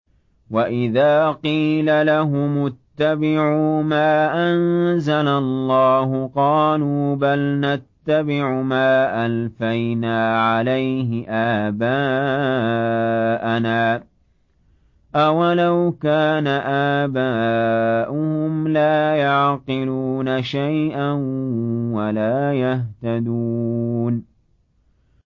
وَإِذَا قِيلَ لَهُمُ اتَّبِعُوا مَا أَنزَلَ اللَّهُ قَالُوا بَلْ نَتَّبِعُ مَا أَلْفَيْنَا عَلَيْهِ آبَاءَنَا ۗ أَوَلَوْ كَانَ آبَاؤُهُمْ لَا يَعْقِلُونَ شَيْئًا وَلَا يَهْتَدُونَ